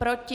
Proti?